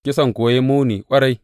Kisan kuwa ya yi muni ƙwarai.